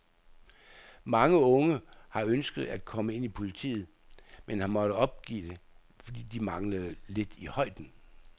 Mange unge har ønsket at komme ind i politiet, men har måttet opgive det, fordi de manglede lidt i højden.